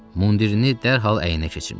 Mundirini dərhal əyninə keçirmişdi.